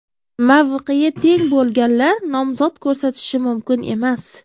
Mavqeyi teng bo‘lganlar nomzod ko‘rsatishi mumkin emas.